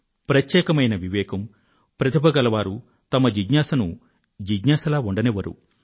ప్రత్యేకమైన వివేకం ప్రతిభ గల వారు వారి జిజ్ఞాసను జిజ్ఞాస లాగా ఉండనివ్వరు